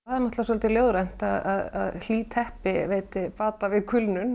náttúrulega svolítið ljóðrænt að hlý teppi veiti bata við kulnun